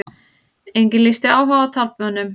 Enginn lýsti áhuga á taflmönnum